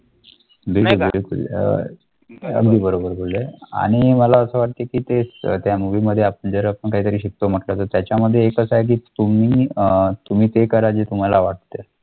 अगदी बरोबर बोलले आणि मला असं वाटतं की ते त्या movie मध्ये आपण जरा आपण काही तरी शिकतो म्हटलं तर त्याच्यामध्ये एकाचं आहे की तुम्ही अं तुम्ही ते करा जे तुम्हाला वाटतं.